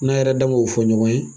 N'a yɛrɛ dan go fɔ ɲɔgɔn ye